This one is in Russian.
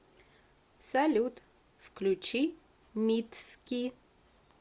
салют включи митски